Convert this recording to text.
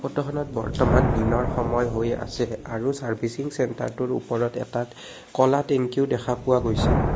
ফটোখনত বৰ্তমান দিনৰ সময় হৈ আছে আৰু চাৰ্ভিছিং চেণ্টাৰটোৰ ওপৰত এটাত ক'লা টেংকিও দেখা পোৱা গৈছে।